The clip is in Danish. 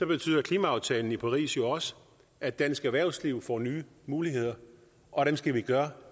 betyder klimaaftalen fra paris jo også at dansk erhvervsliv får nye muligheder og dem skal vi gøre